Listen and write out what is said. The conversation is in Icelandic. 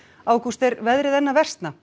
ágúst er veðrið enn að versna